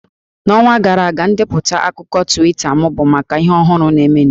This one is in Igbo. N'ọnwa gara aga, ndepụta akụkọ Twita m bụ maka ihe ọhụrụ na-emenụ